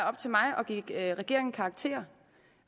op til mig at give regeringen karakter